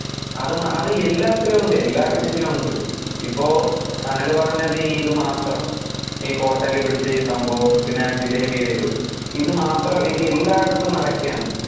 അത് എല്ലാത്തിലും ഉണ്ട്, എല്ലാ കൃഷിലും ഉണ്ട്. ഇപ്പൊ സനല് പറഞ്ഞത് ഈ ഇത് മാത്രം ഈ hotel ലിൽ പിടിച്ച ഈ സംഭവം പിന്നെ ആ ജിലേബിടെ ഇതും, ഇതു മാത്രം അല്ല ഇത് എല്ലാടത്തും നടക്കേണ്.